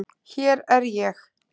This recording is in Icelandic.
Hér er ég!!